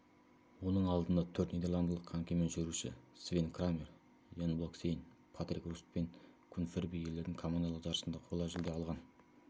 оның алдында төрт нидерландылық конькимен жүгіруші свен крамер ян блокхейсен патрик руст пен кун фервей ерлердің командалық жарысында қола жүлде алған